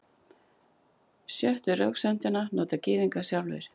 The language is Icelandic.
Sjöttu röksemdina nota Gyðingar sjálfir.